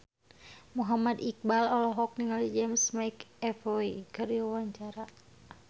Muhammad Iqbal olohok ningali James McAvoy keur diwawancara